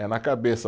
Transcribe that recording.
É na cabeça.